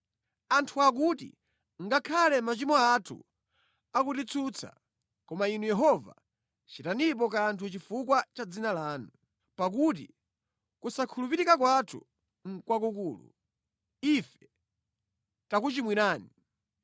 Anthu akuti, “Ngakhale machimo athu akutitsutsa, koma Inu Yehova chitanipo kanthu chifukwa cha dzina lanu. Pakuti kusakhulupirika kwathu nʼkwakukulu; ife takuchimwirani.